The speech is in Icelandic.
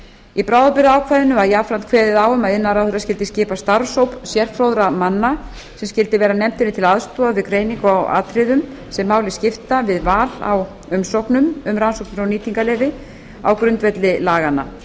í bráðabirgðaákvæðinu var jafnframt kveðið á um að iðnaðarráðherra skyldi skipa starfshóp sérfróðra manna sem skyldi vera nefndinni til aðstoðar við greiningu á atriðum sem máli skipta við val á umsóknum um rannsóknar og nýtingarleyfi á grundvelli laganna